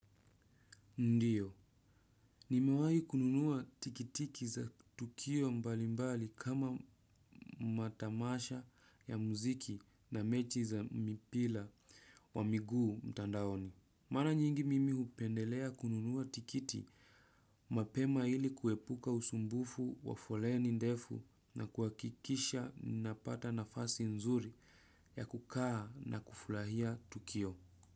Ndio, nimewahi kununua tikiti za tukio mbalimbali kama matamasha ya muziki na mechi za mpira wa miguu mtandaoni. Mara nyingi mimi hupendelea kununua tikiti mapema ili kuepuka usumbufu wa foleni ndefu na kuhakikisha napata nafasi nzuri ya kukaa na kufurahia tukio.